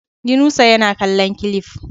Yunusa yana kallon cilif